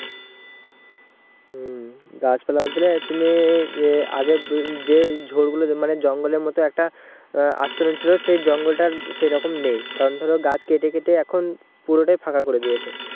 হম গাছ পালা বলতে গেলে তুমি যে আগে যে ঘর গুলোতে মানে জঙ্গলের মতো একটা আস্তরণ ছিল সেই জঙ্গলটা সেরকম নেই কারণ ধরো গাছ কেটে কেটে এখন পুরোটাই ফাঁকা করে দিয়েছে